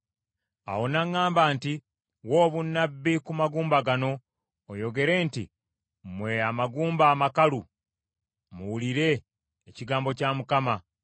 Awo n’aŋŋamba nti, “Wa obunnabbi ku magumba gano, oyogere nti, ‘Mmwe amagumba amakalu, muwulire ekigambo kya Mukama !